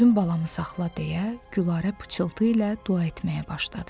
Özün balamı saxla, deyə Gülarə pıçıltı ilə dua etməyə başladı.